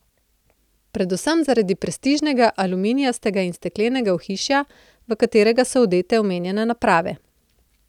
Predvsem zaradi prestižnega aluminijastega in steklenega ohišja, v katerega so odete omenjene naprave.